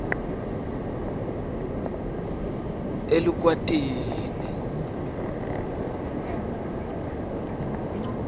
elukwatini